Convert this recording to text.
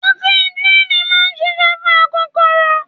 Ọtí jííni máa ń ṣiṣẹ́ fún akokoro.